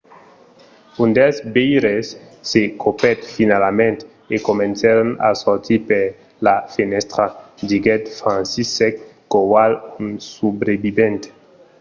un dels veires se copèt finalament e comencèron a sortir per la fenèstra, diguèt franciszek kowal un subrevivent